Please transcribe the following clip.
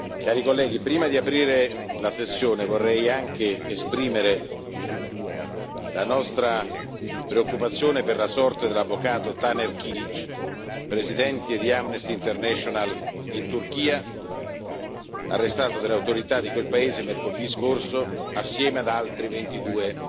Cari colleghi, prima di aprire la sessione, vorrei anche esprimere la nostra preoccupazione per la sorte dell'avvocato Taner Kilic, presidente di Amnesty International in Turchia, arrestato dalle autorità di quel paese mercoledì scorso, insieme ad altri 22